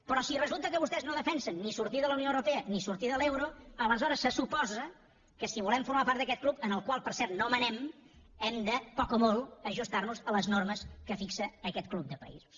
però si resulta que vostès no defensen ni sortir de la unió europea ni sortir de l’euro aleshores se suposa que si volem formar part d’aquest club en el qual per cert no manem hem de poc o molt ajustar nos a les normes que fixa aquest club de països